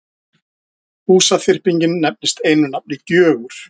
Húsaþyrpingin nefnist einu nafni Gjögur.